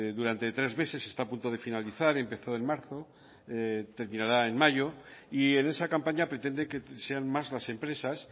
durante tres meses está a punto de finalizar empezó en marzo terminará en mayo y en esa campaña pretende que sean más las empresas